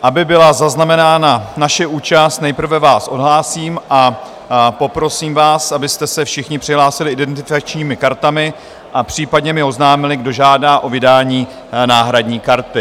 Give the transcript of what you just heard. Aby byla zaznamenána naše účast, nejprve vás odhlásím a poprosím vás, abyste se všichni přihlásili identifikačními kartami a případně mi oznámili, kdo žádá o vydání náhradní karty.